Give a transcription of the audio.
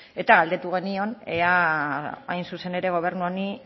eta galdetu genion ea hain zuzen ere gobernu honi